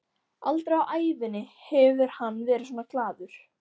Aldrei á ævinni hefur hann verið svona glaður.